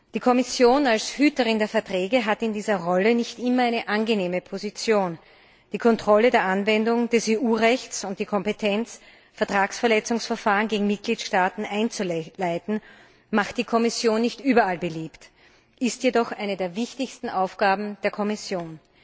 Die Kommission als Hüterin der Verträge hat in dieser Rolle nicht immer eine angenehme Position. Die Kontrolle der Anwendung des EU Rechts und die Kompetenz, Vertragsverletzungsverfahren gegen Mitgliedstaaten einzuleiten, macht die Kommission nicht überall beliebt, ist jedoch eine der wichtigsten Aufgaben der Kommission.